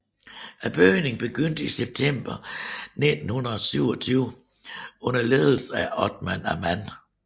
Bygningen begyndte i september 1927 under ledelse af Othmar Ammann